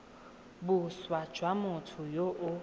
boswa jwa motho yo o